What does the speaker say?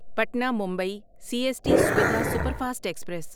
Patna Mumbai C S T Suvidha superfast express